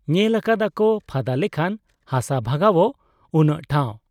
ᱧᱮᱞ ᱟᱠᱟᱫ ᱟᱠᱚ ᱯᱷᱟᱫᱟ ᱞᱮᱠᱷᱟᱱ ᱦᱟᱥᱟ ᱵᱷᱟᱜᱟᱣᱜ ᱩᱱᱟᱹᱜ ᱴᱷᱟᱶ ᱾